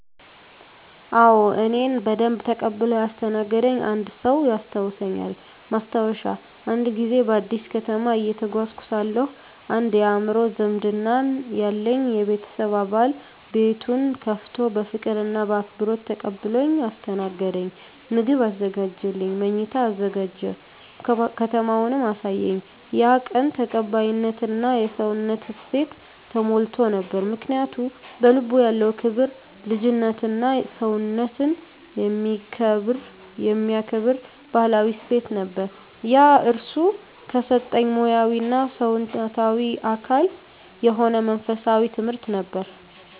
አዎ፣ እኔን በደንብ ተቀብሎ ያስተናገደኝ አንድ ሰው ያስታውሳልኝ። ማስታወሻ፦ አንድ ጊዜ በአዲስ ከተማ እየተጓዝኩ ሳለሁ አንድ የአእምሮ ዝምድና ያለኝ የቤተሰብ አባል ቤቱን ከፍቶ በፍቅር እና በአክብሮት ተቀብሎኝ አስተናገደኝ። ምግብ አዘጋጀልኝ፣ መኝታ አዘጋጀ፣ ከተማውንም አሳየኝ። ያ ቀን ተቀባይነት እና የሰውነት እሴት ተሞልቶ ነበር። ምክንያቱ? በልቡ ያለው ክብር፣ ልጅነትና ሰውነትን የሚከብር ባህላዊ እሴት ነበር። ያ እርሱ ከሰጠኝ ሙያዊ እና ሰውነታዊ አካል የሆነ መንፈሳዊ ትምህርት ነበር።